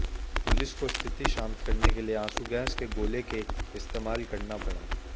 police को स्थिति शांत करने के लिए आँसू गैस के गोले के इस्तेमाल करना पड़ा